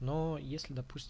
но если допустим